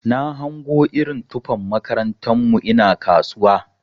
Na hango irin tufan makarantar mu ina kasuwa.